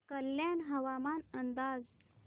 कल्याण हवामान अंदाज